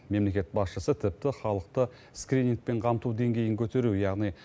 мемлекет басшысы тіпті халықты скринингпен қамту деңгейін көтеру яғни